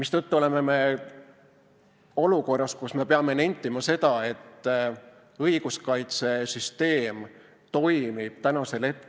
Seetõttu oleme olukorras, kus me peame nentima seda, et õiguskaitsesüsteem toimib tõrgeteta.